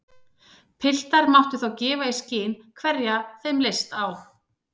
Piltar máttu þá gefa í skyn hverja þeim leist á.